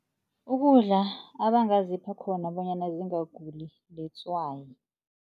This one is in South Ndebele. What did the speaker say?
Ukudla abangazipha khona bonyana zingaguli litswayi.